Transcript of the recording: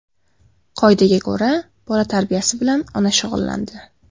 Qoidaga ko‘ra, bola tarbiyasi bilan ona shug‘ullandi.